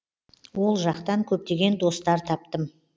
ол жақтан көптеген достар таптым